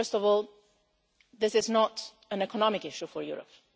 First of all, this is not an economic issue for Europe.